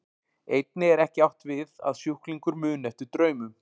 Einnig er ekki átt við að sjúklingur muni eftir draumum.